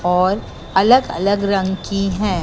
और अलग अलग रंग की है।